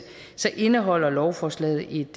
indeholder lovforslaget et